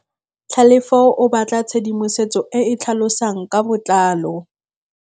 Tlhalefô o batla tshedimosetsô e e tlhalosang ka botlalô.